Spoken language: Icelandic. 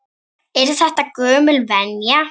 Er þetta gömul venja?